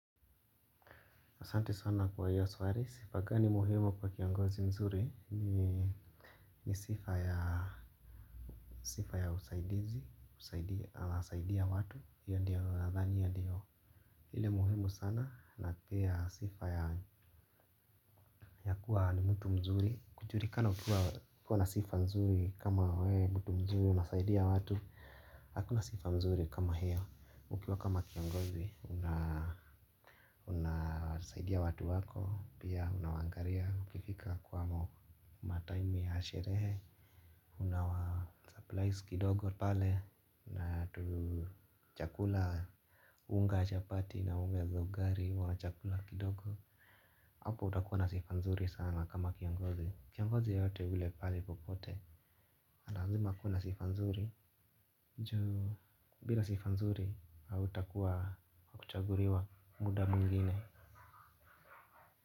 Asante sana kwa hiyo swali, sifa gani muhimu kwa kiongozi mzuri ni sifa ya usaidizi, husaidia watu, hiyo ndiyo nadhani yandiyo. Hile muhimu sana na pia sifa ya kuwa ni mtu mzuri, kujulikana kwa kuwa na sifa mzuri kama we mtu mzuri unasaidia watu, hakuna sifa mzuri kama hiyo. Ukiwa kama kiongozi, unasaidia watu wako, pia unawaangalia, ukifika kwa matime ya sherehe. Unawa surprise kidogo pale, natu chakula unga chapati na unga za ugali wa chakula kidogo. Hapo utakuwa na sifa nzuri sana kama kiongozi. Kiongozi yeyote ule pale popote, nalazima kuna sifanzuri ju, bila sifanzuri, hauta kuwa kuchaguliwa muda mwingiine.